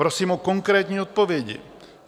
Prosím o konkrétní odpovědi.